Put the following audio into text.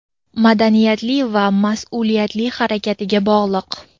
madaniyatli va masʼuliyatli harakatiga bog‘liq.